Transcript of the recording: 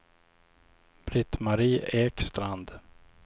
Britt-Marie Ekstrand